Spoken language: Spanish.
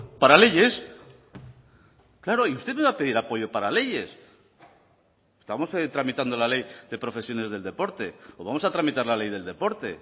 para leyes claro y usted me va a pedir apoyo para leyes estamos tramitando la ley de profesiones del deporte o vamos a tramitar la ley del deporte